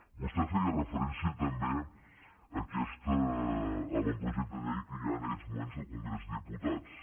vostè feia referència també a aquest avantprojecte de llei que hi ha en aquests moments al congrés dels diputats